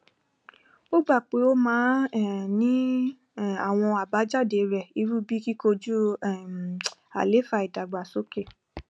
ó gbà pé ó máa um ní um àwọn àbájáde rẹ irú bíi kíkọjú um àlééfà ìdàgbàsókè